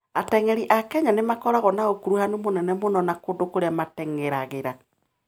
Ateng'eri a Kenya nĩ makoragwo na ũkuruhanu mũnene mũno na kũndũ kũrĩa mateng'eragĩra.